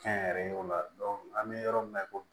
Kɛnyɛrɛyew la dɔn an be yɔrɔ min na i ko bi